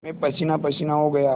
मैं पसीनापसीना हो गया